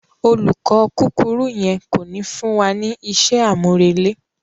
Olùkọ kúkurú yen ko ni fún wa ní isé àmúrele.